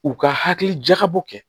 U ka hakili jakabɔ kɛ